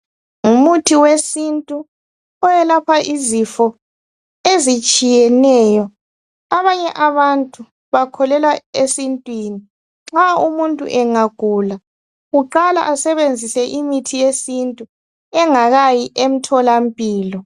ngumuthi wesintu oyelapha izifo ezitshiyeneyo abanye abantu bakholelwa esintwini nxa umuntu engagula uqala esebenzise imithi yesintu engakayi emtholampilo